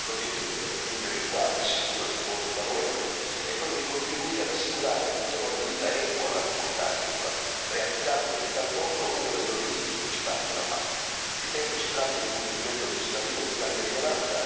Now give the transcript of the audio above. L'obiettivo per raggiungere il quale assicuro il mio voto favorevole è quello di contribuire ad assicurare un tenore di vita equo alla comunità agricola, realizzando in tal modo uno degli obiettivi principali della PAC. Ritengo si tratti di un provvedimento legislativo di grande rilevanza anche per gli agricoltori italiani e siciliani in particolare.